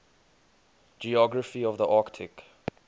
geography of the arctic